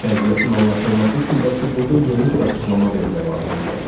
Vəziyyətin anlaşılması üçün bəlkə burda yeni bir açıqlama vermək lazım gəlir.